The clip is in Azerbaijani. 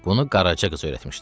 Bunu Qaraca qız öyrətmişdi.